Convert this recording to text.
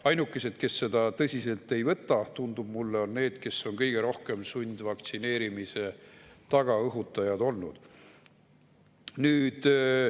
Ainukesed, kes seda tõsiselt ei võta, tundub mulle, on need, kes on kõige rohkem sundvaktsineerimise tagantõhutajad olnud.